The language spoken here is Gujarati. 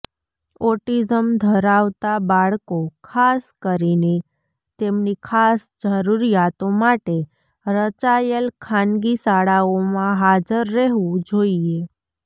ઓટીઝમ ધરાવતા બાળકો ખાસ કરીને તેમની ખાસ જરૂરિયાતો માટે રચાયેલ ખાનગી શાળાઓમાં હાજર રહેવું જોઈએ